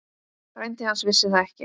Frændi hans vissi það ekki.